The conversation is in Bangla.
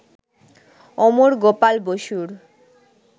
অমর গোপাল বসুর